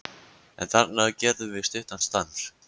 En þarna gerðum við stuttan stans